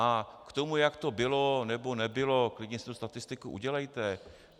A k tomu, jak to bylo nebo nebylo, klidně si tu statistiku udělejte.